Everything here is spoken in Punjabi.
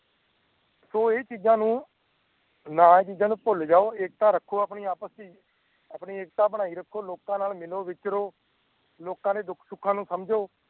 ਸੋ ਇਹ ਚੀਜਾਂ ਨੂੰ ਨਾ ਏਹ ਚੀਜਾਂ ਨੂੰ ਭੁੱਲ ਜਾਓ ਏਕਤਾ ਰੱਖੋ ਆਪਣੇ ਆਪਸ ਚ ਆਪਣੀ ਏਕਤਾ ਬਣਈ ਰੱਖੋ ਲੋਕਾਂ ਨਾਲ ਮਿਲੋ ਵਿਚਰੋ ਲੋਕਾਂ ਦੇ ਦੁੱਖ ਸੁੱਖਾ ਨੂੰ ਸਮਜੋ